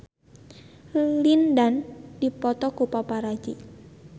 Lin Dan dipoto ku paparazi